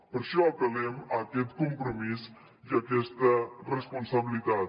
per això apel·lem a aquest compromís i aquesta responsabilitat